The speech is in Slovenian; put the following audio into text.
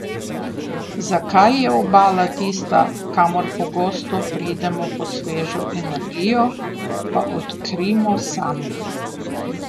Zakaj je Obala tista, kamor pogosto pridemo po svežo energijo, pa odkrijmo sami.